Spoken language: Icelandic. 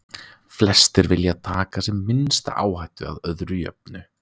Flestir vilja taka sem minnsta áhættu, að öðru jöfnu.